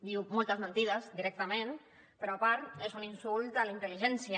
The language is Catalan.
diu moltes mentides directament però a part és un insult de la intel·ligència